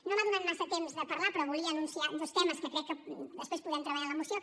no m’ha donat massa temps de parlar però volia anunciar dos temes que crec que després podrem treballar en la moció